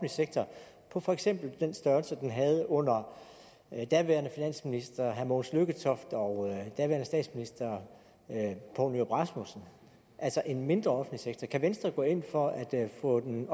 sektor på for eksempel den størrelse den havde under daværende finansminister herre mogens lykketoft og daværende statsminister poul nyrup rasmussen altså en mindre offentlig sektor kan venstre gå ind for at få den